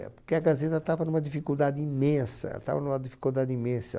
Eh, porque a Gazeta estava numa dificuldade imensa, estava numa dificuldade imensa.